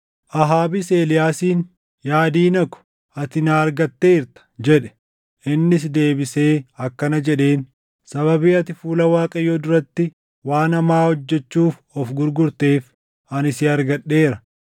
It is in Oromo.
Ahaabis Eeliyaasiin, “Yaa diina ko, ati na argatteerta!” jedhe. Innis deebisee akkana jedheen; “Sababii ati fuula Waaqayyoo duratti waan hamaa hojjechuuf of gurgurteef ani si argadheera.